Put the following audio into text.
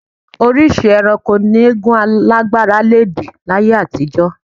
Oríṣìí ẹranko ni eégún alágbára le dì láyé àtijọ́